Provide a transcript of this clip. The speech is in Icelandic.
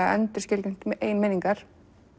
að endurskilgreina eigin minningar